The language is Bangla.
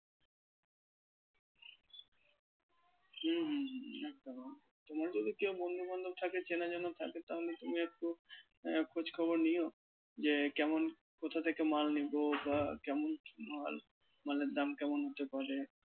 হুম হুম হুম একদম তোমার যদি কেউ বন্ধু বান্ধব থাকে চেনা জানা থাকে তাহলে তুমি একটু আহ খোঁজখবর নিও যে কেমন কোথা থেকে মাল নেবো বা কেমন মাল মালের দাম এর কেমন হতে পারে?